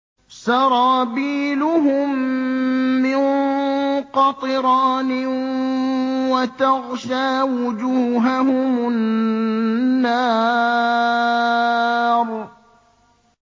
سَرَابِيلُهُم مِّن قَطِرَانٍ وَتَغْشَىٰ وُجُوهَهُمُ النَّارُ